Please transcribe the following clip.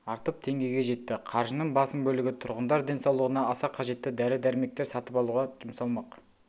артып теңгеге жетті қаржының басым бөлігі тұрғындар денсаулығына аса қажетті дәрі-дәрмектер сатып алуға жұмсалмақ